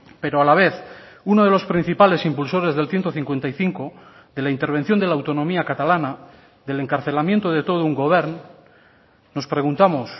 pero a la vez uno de los principales impulsores del ciento cincuenta y cinco de la intervención de la autonomía catalana del encarcelamiento de todo un govern nos preguntamos